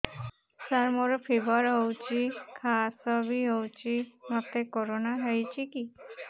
ସାର ମୋର ଫିବର ହଉଚି ଖାସ ବି ହଉଚି ମୋତେ କରୋନା ହେଇଚି କି